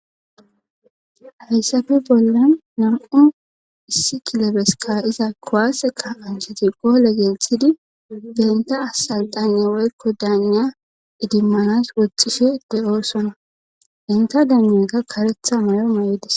hayssafe bollan nam7u issi kilobesika iza kowaaseka ancheti goole gelthidi benta asal daanye woykko daaniya idimmanas woxxishe de7oosona enta daananka karetha mayo may7idis